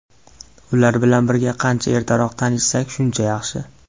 Ular bilan qancha ertaroq tanishsak, shuncha yaxshi.